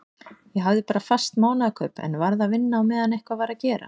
Ég hafði bara fast mánaðarkaup en varð að vinna á meðan eitthvað var að gera.